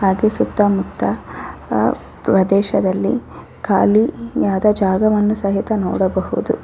ಹಾಗೆ ಸುತ್ತ ಮುತ್ತ ಪ್ರದೇಶದಲ್ಲಿ ಖಾಲಿಯಾದ ಜಾಗವನ್ನು ಸಹಿತ ನೋಡಬಹುದು .